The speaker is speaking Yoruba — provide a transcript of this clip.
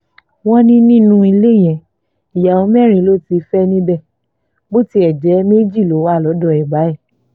wọ́n ní nínú ilé yẹn ìyàwó mẹ́rin ló ti fẹ́ níbẹ̀ bó tiẹ̀ jẹ́ méjì ló wà lọ́dọ̀ ẹ̀ báyìí